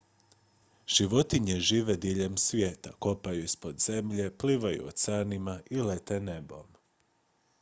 životinje žive diljem svijeta kopaju ispod zemlje plivaju oceanima i lete nebom